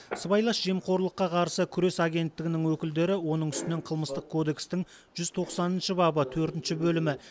сыбайлас жемқорлыққа қарсы күрес агенттігінің өкілдері оның үстінен қылмыстық кодекстің жүз тоқсаныншы бабы төртінші бөлімі